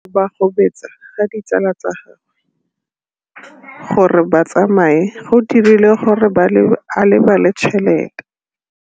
Go gobagobetsa ga ditsala tsa gagwe, gore ba tsamaye go dirile gore a lebale tšhelete.